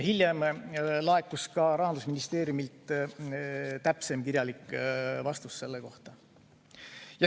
Hiljem laekus Rahandusministeeriumilt täpsem kirjalik vastus selle kohta.